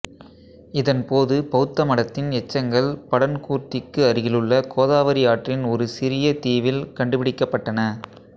இதன்போது பௌத்த மடத்தின் எச்சங்கள் படன்கூர்த்திக்கு அருகிலுள்ள கோதாவரி ஆற்றின் ஒரு சிறிய தீவில் கண்டுபிடிக்கப்பட்டன